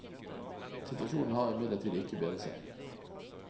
Situasjonen har imidlertid ikke bedret seg.